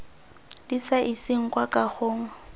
di sa iseng kwa kagong